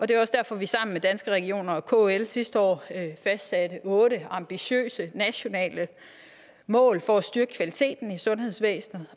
det er også derfor at vi sammen med danske regioner og kl sidste år fastsatte otte ambitiøse nationale mål for at styrke kvaliteten i sundhedsvæsenet